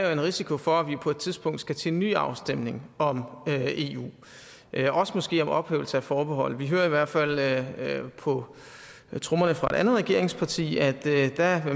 er en risiko for at vi på et tidspunkt skal til en ny afstemning om eu også måske om ophævelse af forbeholdet vi hører i hvert fald på trommerne fra et andet regeringsparti at